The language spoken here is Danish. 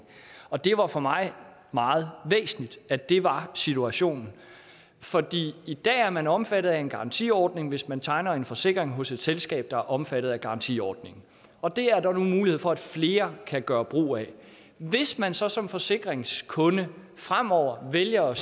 og det var for mig meget væsentligt at det var situationen i dag er man omfattet af en garantiordning hvis man tegner en forsikring hos et selskab der er omfattet af garantiordningen og det er der nu mulighed for at flere kan gøre brug af hvis man så som forsikringskunde fremover vælger